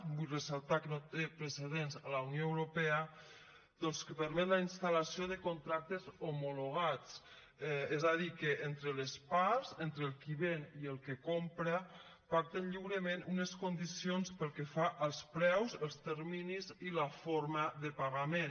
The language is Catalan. vull fer ressaltar que no té precedents a la unió europea doncs que permet la instal·lació de contractes homologats és a dir que entre les parts entre el qui ven i el que compra pacten lliurement unes condicions pel que fa als preus els terminis i la forma de pagament